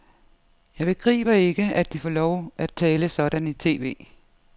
Jeg begriber ikke, at de får lov at tale sådan i tv.